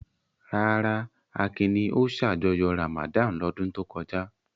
Rárá, Akin ni ó ṣàjọyọ̀ Ramadan lọ́dún tó kọjá.